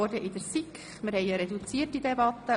Wir führen eine reduzierte Debatte.